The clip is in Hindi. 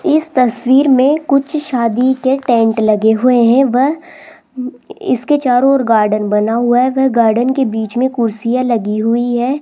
इस तस्वीर में कुछ शादी के टेंट लगे हुए हैं वह इसके चारों ओर गार्डन बना हुआ है वह गार्डन के बीच में कुर्सिया लगी हुई है।